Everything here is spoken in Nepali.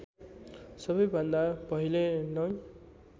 सबैभन्दा पहिले नौ